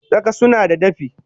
Tsaka sunada dafi